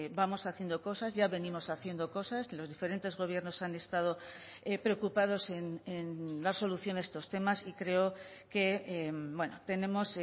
vamos haciendo cosas ya venimos haciendo cosas los diferentes gobiernos han estado preocupados en dar solución a estos temas y creo que tenemos